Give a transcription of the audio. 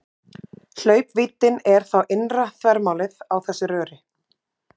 Hlaupvíddin er þá innra þvermálið á þessu röri.